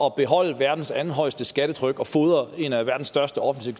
at beholde verdens andethøjeste skattetryk og fodre en af verdens største offentlige